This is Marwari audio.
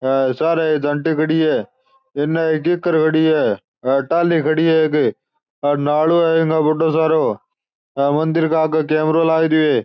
अ सारे ए झांटे खड़ी है इन खड़ी है अ टाली खड़ी है एक हेर नालो है एक बढ़ो सारो ह मंदिर के आगे कैमराे लाग रियो है।